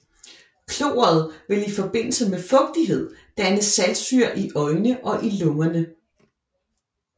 Kloret vil i forbindelse med fugtighed danne saltsyre i øjne og i lungerne